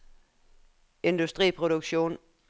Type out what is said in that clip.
industriproduksjon